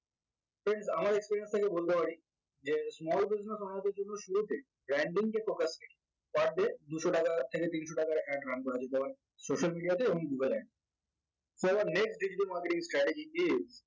friends আমার experience থেকে বলতে পারি যে small business owner দের জন্য শুরুতে branding per day দুশ টাকা থেকে তিনশটাকা ad run করা যেতে পারে social media তে এবং google so our next digital marketing strategy is